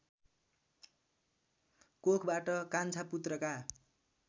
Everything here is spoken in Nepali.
कोखबाट कान्छा पुत्रका